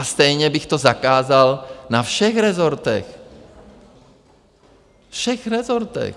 A stejně bych to zakázal na všech rezortech, všech rezortech.